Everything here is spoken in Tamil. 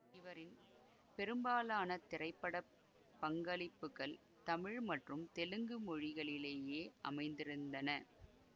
இவரின் பெரும்பாலான திரைப்பட பங்களிப்புக்கள் தமிழ் மற்றும் தெலுங்கு மொழிகளிலேயே அமைந்திருந்தன